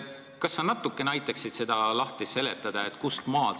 Kas sa aitaksid seda natukene lahti seletada?